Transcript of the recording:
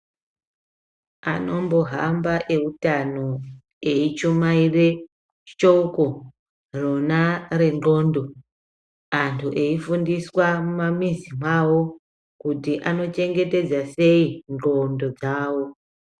Anombohamba eutano eichumaire shoko rona rendxondo, antu eifundiswa mumamizi mwavo kuti anochengetedza sei ndxondo dzavo.